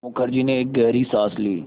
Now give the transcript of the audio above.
मुखर्जी ने एक गहरी साँस ली